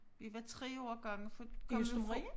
Vi var 3 årgange for kom jo fra